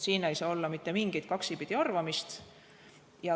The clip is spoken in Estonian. Siin ei saa olla mitte mingit kaksipidi arvamist.